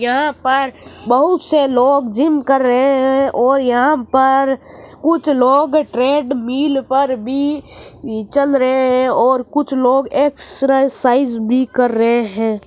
यहाँ पर बहुत से लोग जिम कर रहे है और यहाँ पर कुछ लोग ट्रेड मील पर भी चल रहे है और कुछ लोग एक्सरासाइज़ भी कर रहे है।